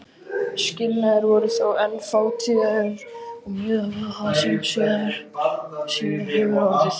Skilnaðir voru þó enn fátíðir miðað við það sem síðar hefur orðið.